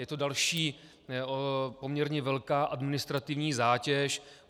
Je to další poměrně velká administrativní zátěž.